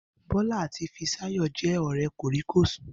Bó̩lá àti Fisáyò̩ jé̩ ò̩ré̩ kòríkòsùn